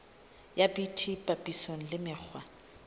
ya bt papisong le mekgwa